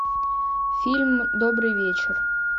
фильм добрый вечер